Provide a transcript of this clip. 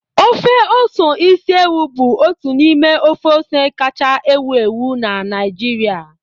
Ofe ose isi ewu bụ otu n'ime ofe ose kachasị ewu ewu na Naịjirịa